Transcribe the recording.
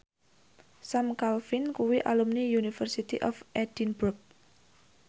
Sam Claflin kuwi alumni University of Edinburgh